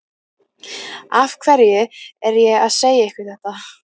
Af hverju er ég að segja ykkur þetta?